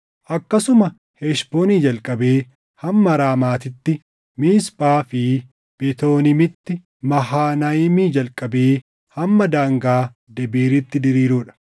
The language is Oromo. akkasuma Heshboonii jalqabee hamma Raamaatitti Miisphaa fi Betooniimitti, Mahanayiimii jalqabee hamma daangaa Debiiritti diriiruu dha;